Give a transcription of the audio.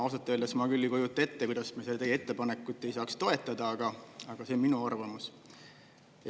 Ja ausalt öeldes ma küll ei kujuta ette, kuidas me seda teie ettepanekut ei saaks toetada, aga see on minu arvamus.